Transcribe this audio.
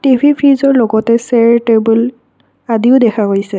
TV ফ্ৰিজৰ লগতে chair table আদিও দেখা গৈছে।